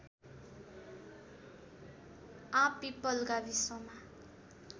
आँपपिपल गाविसमा